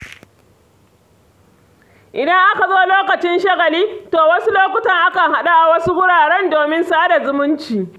Idan aka zo lokacin shagali, to a wasu lokutan akan haɗu a wasu wurare domin sa da zumunci.